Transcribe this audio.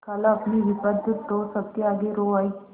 खालाअपनी विपद तो सबके आगे रो आयी